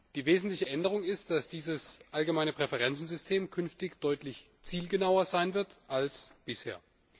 Die wesentliche Änderung ist, dass dieses allgemeine Präferenzsystem künftig deutlich zielgenauer sein wird als bisher.